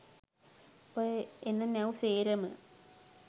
ඔය එන නැව් සේරම